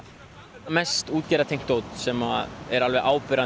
mest dót sem er alveg